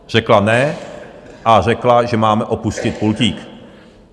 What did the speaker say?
Řekla "ne" a řekla, že máme opustit pultík.